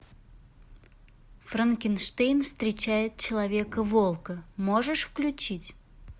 франкенштейн встречает человека волка можешь включить